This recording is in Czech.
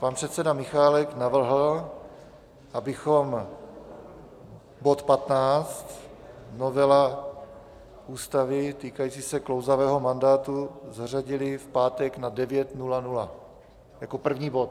Pan předseda Michálek navrhl, abychom bod 15, novela Ústavy týkající se klouzavého mandátu, zařadili v pátek na 9.00 jako první bod.